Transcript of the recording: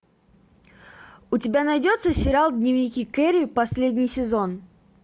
у тебя найдется сериал дневники кэрри последний сезон